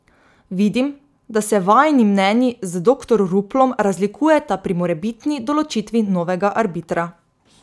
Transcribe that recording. Vidim, da se vajini mnenji z doktor Ruplom razlikujeta pri morebitni določitvi novega arbitra.